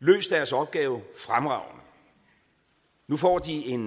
løst deres opgave fremragende nu får de en